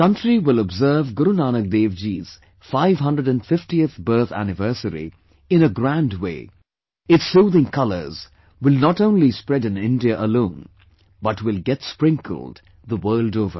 The country will observe Guru Nahak Dev Ji's 550th birth anniversary in a grand way, its soothing colours will not only spread in India alone but will get sprinkled the world over